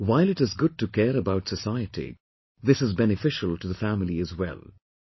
So while it is good to care about society, this is beneficial to the family as well